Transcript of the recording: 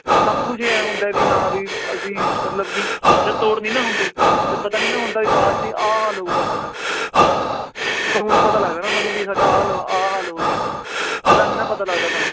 ਸਭ ਕੁਛ ਇਉਂ ਹੁੰਦਾ ਵੀ ਹਾਂ ਵੀ ਅਸੀਂ ਮਤਲਬ ਕਿ ਜਦ ਤੋੜ ਨੀ ਨਾ ਹੁੰਦੀ ਜਦ ਪਤਾ ਨੀ ਨਾ ਹੁੰਦਾ ਵੀ ਬਾਅਦ 'ਚ ਆਹ ਹਾਲ ਹੋਊਗਾ ਸਾਡਾ ਉਹ ਤਾਂ ਹੁਣ ਪਤਾ ਲੱਗਦਾ ਨਾ ਸਾਨੂੰ ਵੀ ਸਾਡਾ ਆਹ ਹਾਲ ਹੋ ਰਿਹਾ ਹੈ, ਪਹਿਲਾਂ ਨੀ ਨਾ ਪਤਾ ਲੱਗਦਾ ਸਾਨੂੰ।